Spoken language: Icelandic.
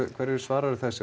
hverju svararðu þessu